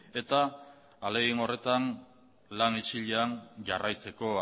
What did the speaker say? eta ahalegin horretan lan isilean jarraitzeko